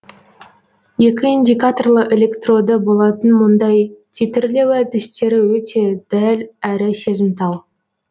екі индикаторлы электроды болатын мұндай титрлеу әдістері өте дәл әрі сезімтал